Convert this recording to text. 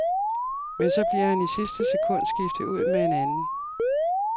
Men så bliver han i sidste sekund skiftet ud med en anden.